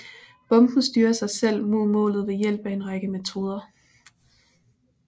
Bomben styrer sig selv mod målet ved hjælp af en række metoder